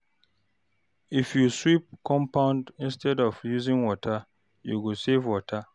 If you sweep compound instead of using water, you go save water.